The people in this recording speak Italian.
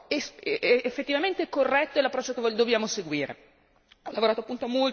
Quindi questo è l'approccio effettivamente corretto e l'approccio che noi dobbiamo seguire.